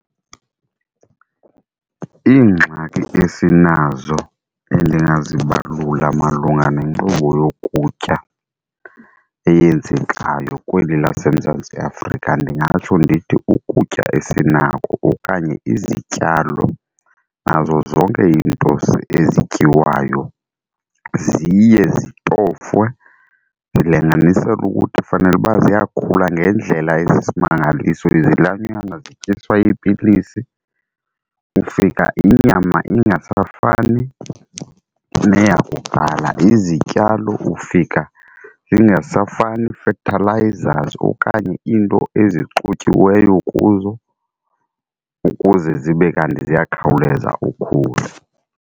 Iingxaki esinazo endingazibalula malunga nenkqubo yokutya eyenzekayo kweli laseMzantsi Afrika ndingatsho ndithi ukutya esinako okanye izityalo nazo zonke izinto ezityiwayo ziye zitofwe zilinganiselwe ukuthi fanele uba ziyakhula ngendlela esisimangaliso. Izilwanyana zityiswa iipilisi ufika inyama ingasafani neyakuqala, izityalo ufika zingasafani fertilizers okanye iinto ezixutyiweyo kuzo ukuze zibe kanti ziyakhawuleza ukhula.